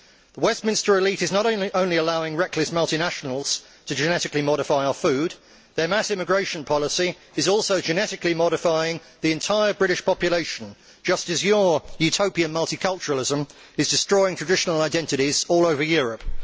The Westminster elite is not only allowing reckless multinationals to genetically modify our food, their mass immigration policy is also genetically modifying the entire British population, just as your utopian multiculturalism is destroying traditional identities all over Europe.